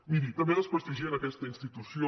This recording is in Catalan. miri també desprestigien aquesta institució